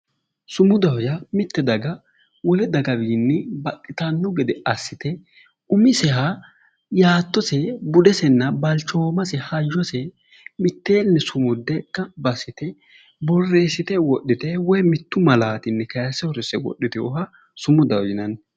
Sumudaho yaa mitte daga wole daga wiini baxxitanno gede assite umiseha yaattose budesenna balichoomase halichose mitteeenni sumudde ganibba assite boreesite wodhite woyi mittu malaatinni kayise uurise wodhitewoha sumudaho yinanni